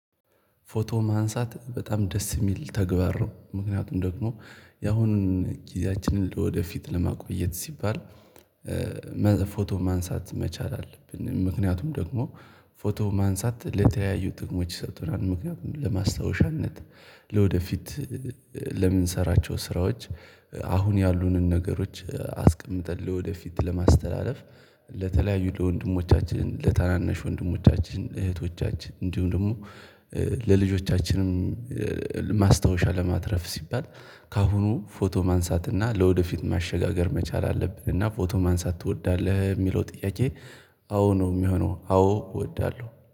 ፎቶ ማንሳት በጣም ደስ የሚል ተግባር ነው። ምክንያቱም ደግሞ ያሁኑን ጊዜያችንን ለወደፊት ለማቆየት ሲባል ፎቶ ማንሳት መቻል አለብን። ምክንያቱም ደግሞ ፎቶ ማንሳት ለተለያዩ ጥቅሞች ይሰጡናል። ምክንያቱም ለማስታወሻነት ለወደፊት ሰራቸው ስራዎች አሁን ያሉንን ነገሮች አስቀምጠን ወደፊት ለማስተላለፍ ለተለያዩ ለወንድሞቻችን ለታናነሽ ወንድሞቻችን እህቶቻችን እንዲሁም ደግሞ ለልጆቻችንም ማስታወሻ ለማትረፍ ሲባል። ከአሁኑ ፎቶ ማንሳትና ለወደፊት ማሸጋገር መቻል አለብን። እና ፎቶ ማንሳት ትወዳለህ የሚለው ጥያቄ? አዎ ነው የሚሆነው አዎ እወዳለሁ